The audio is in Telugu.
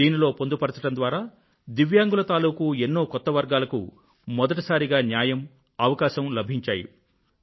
దీనిలో పొందుపరచడం ద్వారా దివ్యాంగుల తాలూకూ ఎన్నో కొత్త వర్గాలకు మొదటిసారిగా న్యాయము అవకాశమూ లభించాయి